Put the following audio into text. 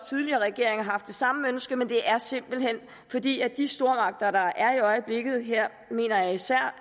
tidligere regering har haft det samme ønske men det er simpelt hen fordi de stormagter der er i øjeblikket og her mener jeg især